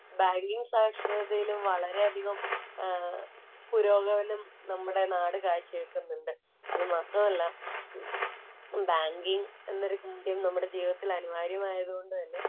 Banking സാക്ഷരതയിലും വളരെയധികം പുരോഗമനം നമ്മുടെ നാട് കാഴ്ച വയ്ക്കുന്നുണ്ട്‌. അത് മാത്രമല്ല, ബാങ്കിങ്ങ് എന്നൊരു കാര്യം നമ്മുടെ ജീവിതത്തില്‍ അനിവാര്യമായത് കൊണ്ട് തന്നെ